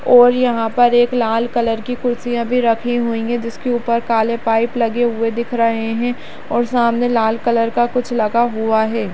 और यहाँँ पर एक लाल कलर की कुर्सियां भी रखी हुई हैं जिसके ऊपर काले पाइप लगे हुवे दिख रहे हैं और सामने लाल कलर का कुछ लगा हुवा है।